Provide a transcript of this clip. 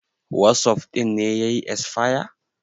wasof ɗin ne ya yi esfaya